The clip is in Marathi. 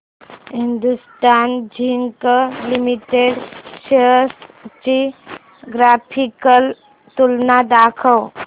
हिंदुस्थान झिंक लिमिटेड शेअर्स ची ग्राफिकल तुलना दाखव